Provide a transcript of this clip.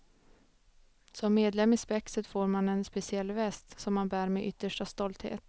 Som medlem i spexet får man en speciell väst, som man bär med yttersta stolthet.